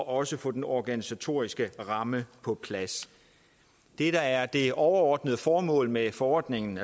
også får den organisatoriske ramme på plads det der er det overordnede formål med forordningen